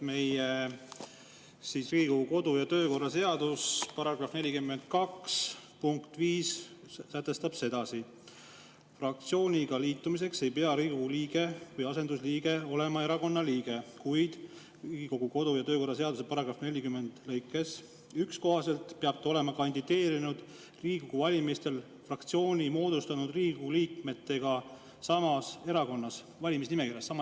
Riigikogu kodu‑ ja töökorra seaduse § 42 kohta sätestab punktis 5: "Fraktsiooniga liitumiseks ei pea Riigikogu liige või asendusliige olema erakonna liige, kuid RKKTS § 40 lõike 1 kohaselt peab ta olema kandideerinud Riigikogu valimistel fraktsiooni moodustanud Riigikogu liikmetega sama erakonna valimisnimekirjas.